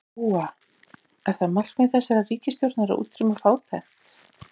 Lóa: Er það markmið þessarar ríkisstjórnar að útrýma fátækt?